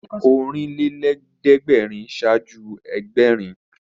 Ọ̀rìnlélẹ́ẹ̀dẹ́gbèrin ṣáájú Ẹgbẹ̀rin